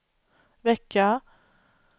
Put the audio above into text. vecka